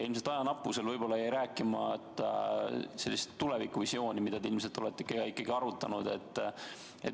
Ilmselt ajanappusel jäi rääkimata sellest tulevikuvisioonist, mida te ilmselt olete ka ikkagi arutanud.